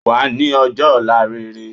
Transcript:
Wàá ní ojọ́ òla rere